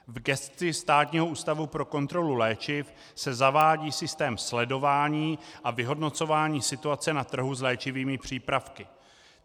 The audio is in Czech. V gesci Státního ústavu pro kontrolu léčiv se zavádí systém sledování a vyhodnocování situace na trhu s léčivými přípravky.